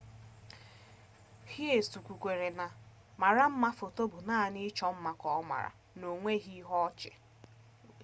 hsieh kwukwara na ma mara mma foto bụ naanị ịchọ mma ka ọ maara na onweghi ihe ọ chị